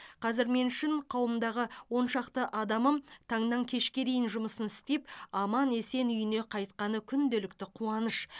қазір мен үшін қарауымдағы он шақты адамым таңнан кешке дейін жұмысын істеп аман есен үйіне қайтқаны күнделікті қуаныш